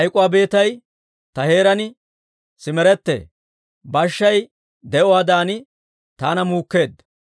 «Hayk'k'uwaa beetay ta heeraan sirimettee; bashshay di'uwaadan taana muukkeedda.